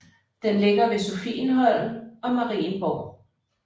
Den ligger ved Sophienholm og Marienborg